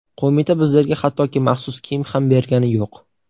Qo‘mita bizlarga hattoki maxsus kiyim ham bergani yo‘q.